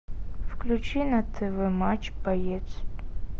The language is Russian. включи на тв матч боец